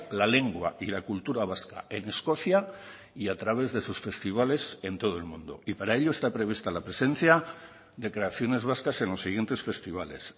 la lengua y la cultura vasca en escocia y a través de sus festivales en todo el mundo y para ello está prevista la presencia de creaciones vascas en los siguientes festivales